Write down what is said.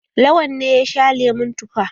Lawan ne ya sha lemon tufa.